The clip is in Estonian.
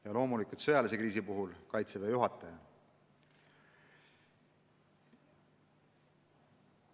Ja sõjalise kriisi puhul juhib loomulikult Kaitseväe juhataja.